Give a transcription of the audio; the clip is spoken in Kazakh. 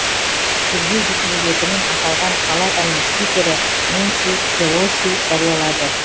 тергеу жүргізілетінін аталған палатаның спикері нэнси пелоси жариялады